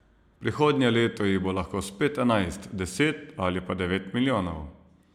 Prihodnje leto jih bo lahko spet enajst, deset ali pa devet milijonov.